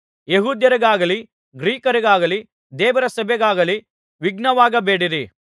ಯೆಹೂದ್ಯರಿಗಾಗಲಿ ಗ್ರೀಕರಿಗಾಗಲಿ ದೇವರ ಸಭೆಗಾಗಲಿ ವಿಘ್ನವಾಗಬೇಡಿರಿ